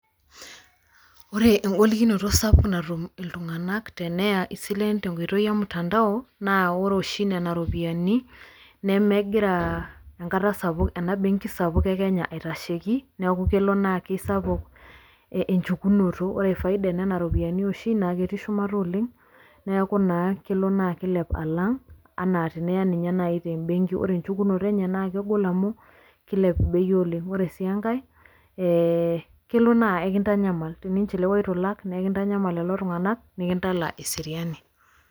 ore egolikinoto sapuk natum iltungan teneya isilen tenkoitoi emutandao. naa ore oshi nena ropiyiani, nemegira enkata sapuk, ena benki sapuk e kenya aitasheki. neeku kelo naa kisapuk enchukunoto. ore faida oo nena ropiyiani oshi naa ketii shumata sapuk,,neeku naaa kelo naa kilep alang ana teniya ninye naji te benki. ore enchukunoto enye naa kegol amu kilep bei oleng. ore sii enkae, ee kelo naa ekintanyaml teninchiliwa eitu ilak naa ekintanyamal lelo tunganak nikintala eseriani.